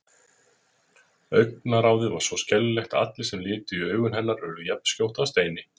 Augnaráðið var svo skelfilegt að allir sem litu í augu hennar urðu jafnskjótt að steini.